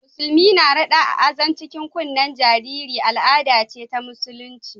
Musulmi rada Azan a cikin kunnen jariri al'ada ce ta Musulunci